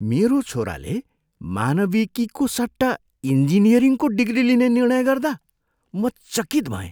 मेरो छोराले मानविकीको सट्टा इन्जिनियरिङको डिग्री लिने निर्णय गर्दा म चकित भएँ।